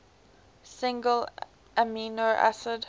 single amino acid